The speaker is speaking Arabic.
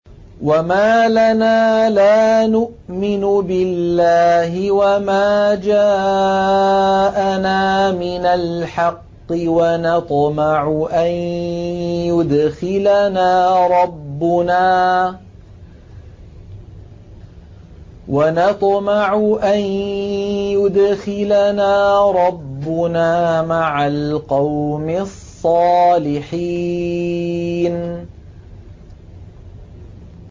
وَمَا لَنَا لَا نُؤْمِنُ بِاللَّهِ وَمَا جَاءَنَا مِنَ الْحَقِّ وَنَطْمَعُ أَن يُدْخِلَنَا رَبُّنَا مَعَ الْقَوْمِ الصَّالِحِينَ